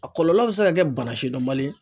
A kɔlɔlɔ bɛ se ka kɛ bana sidɔnbali ye.